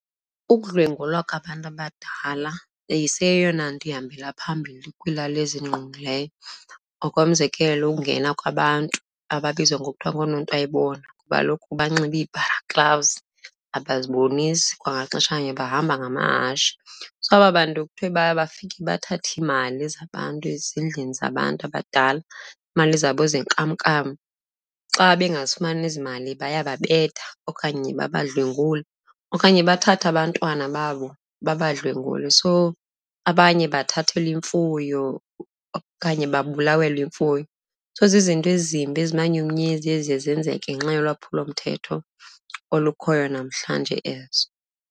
Ukudlwengulwa kwabantu abadala iseyeyona nto ihambela phambili kwiilali ezindigqungileyo. Ngokomzekelo, ungena kwabantu ababizwa ngokuthi ngoononto ayibonwa ngoba kaloku banxibe iibharaklavuzi, abazibonisi, kwangexesha elinye bahamba ngamahashe. So aba bantu kuthiwe baye bafike bathathe iimali zabantu ezisezindlini zabantu abadala, iimali zabo zenkamnkam. Xa bengazifumani ezimali bayababetha okanye babadlwengule okanye bathathe abantwana babo babadlwengule. So abanye bathathelwa imfuyo okanye babulawelwe imfuyo. So zizinto ezimbi, ezimanyumnyezi eziye zenzeke ngenxa yolwaphulomthetho olukhoyo namhlanje ezo.